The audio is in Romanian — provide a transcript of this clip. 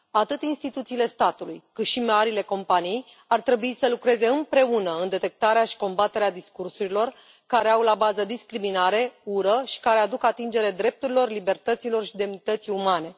Atât instituțiile statului, cât și marile companii ar trebui să lucreze împreună în detectarea și combaterea discursurilor care au la bază discriminare, ură și care aduc atingere drepturilor, libertăților și demnității umane.